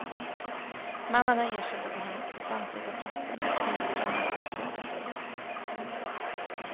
Mannen har erkänt att han befann sig på platsen där knivdramat utspelade sig.